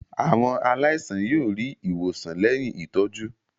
Àwọn aláìsàn yóò rí ìwòsàn lẹ́yìn ìtọ́jú.